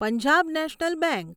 Punjab National bank